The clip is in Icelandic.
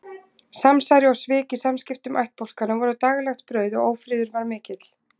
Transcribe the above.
Samsæri og svik í samskiptum ættbálkanna voru daglegt brauð og ófriður var mikill.